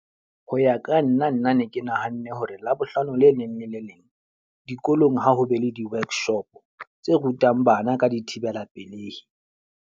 Ho ya ka nna nna ne ke nahanne hore Labohlano le leng le le leng, dikolong ha ho be le di-workshop tse rutang bana ka dithibela pelehi.